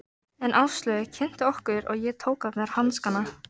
En Áslaug kynnti okkur og ég tók af mér hanskana.